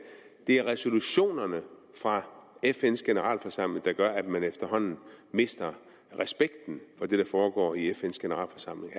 det er resolutionerne fra fns generalforsamling der gør at man efterhånden mister respekten for det der foregår i fns generalforsamling